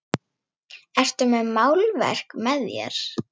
Ertu með málverk með þér?